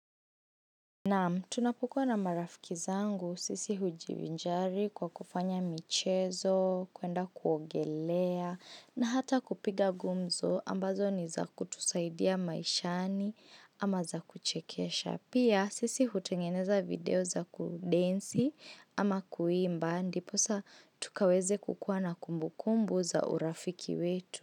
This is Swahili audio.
Na tunapukua na marafiki zangu sisi hujivinjari kwa kufanya michezo, kuenda kuogelea na hata kupiga gumzo ambazo ni za kutusaidia maishani ama za kuchekesha. Pia sisi hutengeneza video za kudensi ama kuimbandi. Posa tukaweze kukua na kumbukumbu za urafiki wetu.